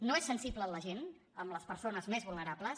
no és sensible amb la gent amb les persones més vulnerables